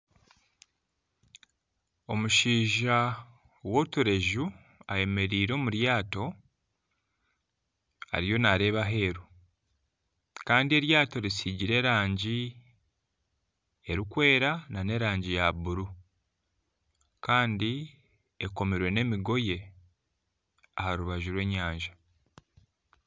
Omushaija w'otureju ayemereire omu ryato ariyo naareeba aheeru Kandi eryato risigire erangi erikwera nana erangi ya buru Kandi ekomire n'emigoye aha rubaju rw'enyanja